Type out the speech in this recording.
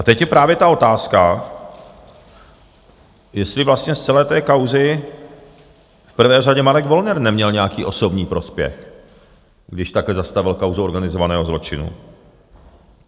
A teď je právě ta otázka, jestli vlastně z celé té kauzy v prvé řadě Marek Wollner neměl nějaký osobní prospěch, když takhle zastavil kauzu organizovaného zločinu.